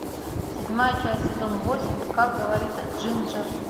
седьмая часть сезон восемь как говорит джинджер